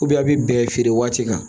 a bɛ bɛn feere waati kan